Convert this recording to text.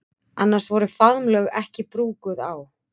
Annars voru faðmlög ekki brúkuð á